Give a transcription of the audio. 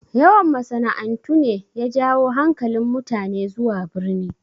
Yawan masana'antu ne ya jawo hankalin mutane zuwa birni